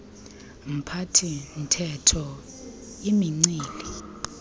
mphathi theko imincili